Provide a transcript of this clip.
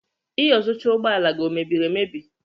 Iyuzucha ụgbọ ala gị ọ mebiri emebi?